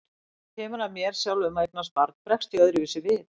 Svo þegar kemur að mér sjálfum að eignast barn bregst ég öðruvísi við.